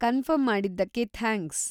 confirm ಮಾಡಿದ್ದಕ್ಕೆ thanks.